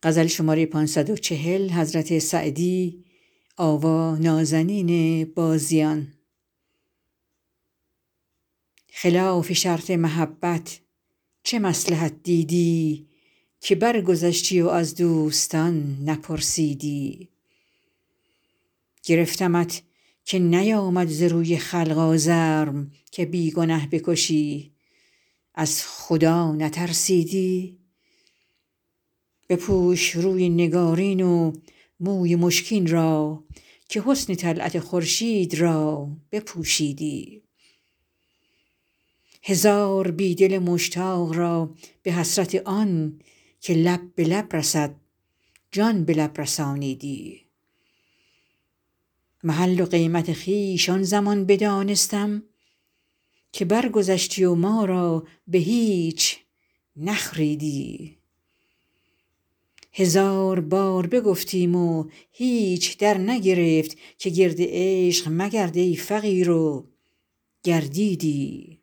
خلاف شرط محبت چه مصلحت دیدی که برگذشتی و از دوستان نپرسیدی گرفتمت که نیآمد ز روی خلق آزرم که بی گنه بکشی از خدا نترسیدی بپوش روی نگارین و موی مشکین را که حسن طلعت خورشید را بپوشیدی هزار بی دل مشتاق را به حسرت آن که لب به لب برسد جان به لب رسانیدی محل و قیمت خویش آن زمان بدانستم که برگذشتی و ما را به هیچ نخریدی هزار بار بگفتیم و هیچ درنگرفت که گرد عشق مگرد ای فقیر و گردیدی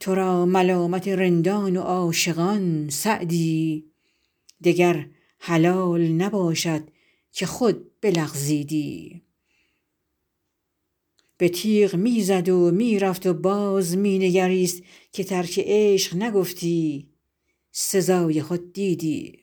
تو را ملامت رندان و عاشقان سعدی دگر حلال نباشد که خود بلغزیدی به تیغ می زد و می رفت و باز می نگریست که ترک عشق نگفتی سزای خود دیدی